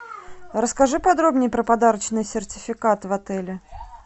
расскажи подробнее про подарочный сертификат в отеле